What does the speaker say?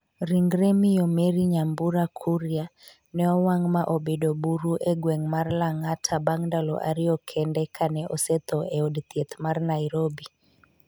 Ringre Miyo Mary Nyambura Kuria ne owang' ma obedo buru e gweng' mar Lang'ata bang' ndalo ariyo kende kane osetho e od thieth mar Nairobi.